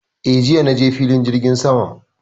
Eh, jiya na je filin jirgin saman